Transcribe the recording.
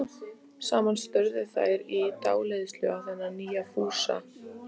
Stýrið var úr tré, vel viðað og allþungt.